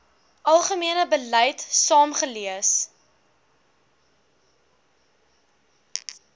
algemene beleid saamgelees